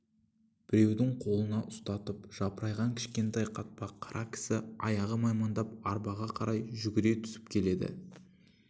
біреудің қолына ұстатып жапырайған кішкентай қатпа қара кісі аяғы маймаңдап арбаға қарай жүгіре түсіп келеді